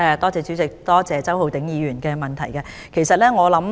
主席，感謝周浩鼎議員的補充質詢。